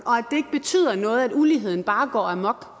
og noget at uligheden bare går amok